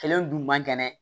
Kɛlɛ in dun man kɛnɛ